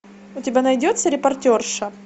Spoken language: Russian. у тебя найдется репортерша